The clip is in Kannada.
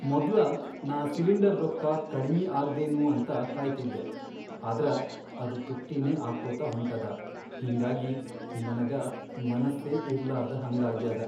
ಮೊದ್ಲ ನಾ ಸಿಲಿಂಡರ್ ರೊಕ್ಕಾ ಕಡಿಮಿ ಆಗ್ದೇನೂ ಅಂತ ಕಾಯ್ತಿದ್ದೆ ಆದ್ರ ಅದ್ ತುಟ್ಟಿನೇ ಆಗ್ಕೋತ ಹೊಂಟದ, ಹಿಂಗಾಗಿ ನನಗ ಮನಸ್ಸೇ ಇರ್ಲಾರ್ದಹಂಗಾಗ್ಯಾದ.